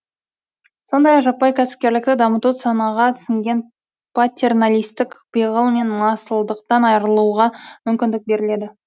сондай ақ жаппай кәсіпкерлікті дамыту санаға сіңген патерналистік пиғыл мен масылдықтан айрылуға мүмкіндік береді